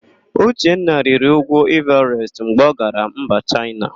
Uchenna rịrị úgwú Ịvarest mgbe ọ gara mba Chaịna.